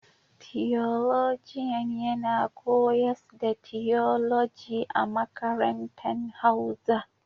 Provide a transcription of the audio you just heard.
Tiyolojian yana koyars da tiyoloji a makarantan hauza.